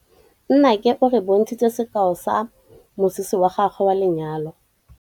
Nnake o re bontshitse sekaô sa mosese wa gagwe wa lenyalo.